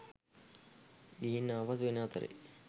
ගිහින් ආපසු එන අතරේ